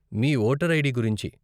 మీ voter ID గురించి.